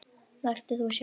Vertu þú sjálf.